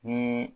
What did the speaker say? Ni